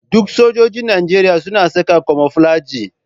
Duk sojoji Nijeriya suna sa kayan kamoflaji.